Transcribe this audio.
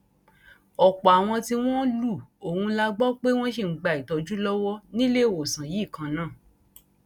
ọpọ àwọn tí wọn lu ohùn la gbọ pé wọn ṣì ń gba ìtọjú lọwọ níléewọsán yìí kan náà